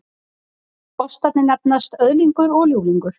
Ostarnir nefnast Öðlingur og Ljúflingur